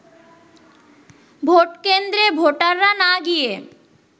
ভোটকেন্দ্রে ভোটাররা না গিয়ে